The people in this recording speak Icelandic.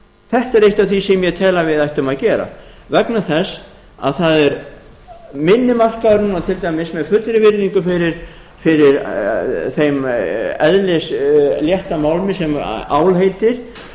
þetta er eitt af því sem ég tel að við ættum að gera vegna þess að það er minni markaður núna til dæmis með fullri virðingu fyrir þeim eðlislétta málmi sem ál heitir